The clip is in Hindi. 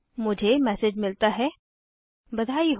मुझे मैसेज मिलता है बधाई हो